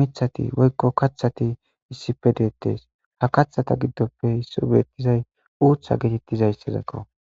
mithati woykko kaththati issippe deettes. Ha kathata giddoppe isso beettizay uutha getettiza izakko.